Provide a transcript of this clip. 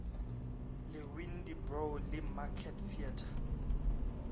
le windybrow le market theatre